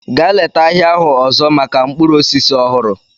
Gaa leta ahịa ahụ ọzọ maka mkpụrụ osisi ọhụrụ!